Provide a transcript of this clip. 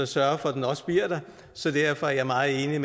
sørge for at den også bliver der så derfor er jeg meget enig